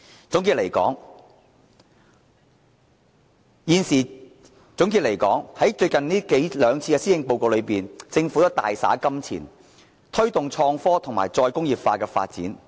總的來說，政府在最近兩次施政報告都大灑金錢，推動創科及再工業化發展。